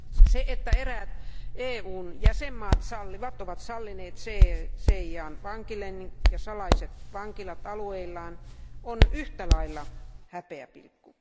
Se, että eräät EUn jäsenvaltiot sallivat, ovat sallineet CIAn vankilennot ja salaiset vankilat alueillaan, on yhtä lailla häpeäpilkku.